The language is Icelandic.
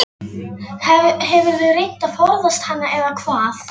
Það er svo æðislega gaman að heyra hvissið.